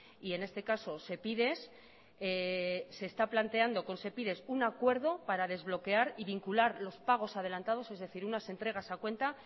y en este caso sepides se está planteando con sepides un acuerdo para desbloquear y vincular los pagos adelantados es decir unas entregas a cuenta